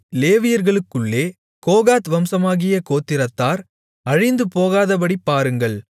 லேவியர்களுக்குள்ளே Kohath வம்சமாகிய கோத்திரத்தார் அழிந்துபோகாதபடி பாருங்கள்